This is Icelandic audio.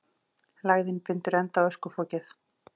Lægðin bindur enda á öskufokið